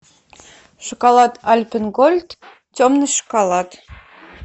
шоколад альпен гольд темный шоколад